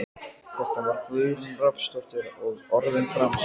Þetta var Guðrún Rafnsdóttir og orðin framsett.